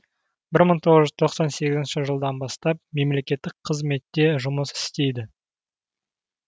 бір мың тоғыз жүз тоқсан сегізінші жылдан бастап мемлекеттік қызметте жұмыс істейді